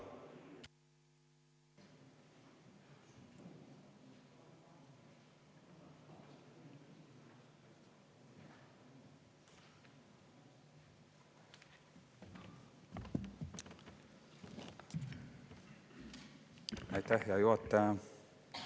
Aitäh, hea juhataja!